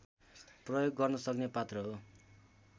प्रयोग गर्नसक्ने पात्र हो